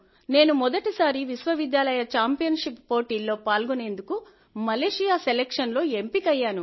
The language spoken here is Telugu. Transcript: నేను మొదటిసారి లో విశ్వవిద్యాలయ ఛాంపియన్షిప్ పోటీల్లో పాల్గొనేందుకు కు మలేషియా సెలక్షన్ లో ఎంపికయ్యాను